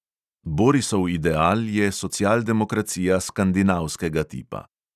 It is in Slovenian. Borisov ideal je socialdemokracija skandinavskega tipa.